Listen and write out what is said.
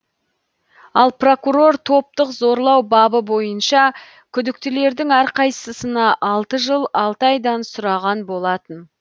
ал прокурор топтық зорлау бабы бойынша күдіктілердің әрқайсысына алты жыл алты айдан сұраған болатын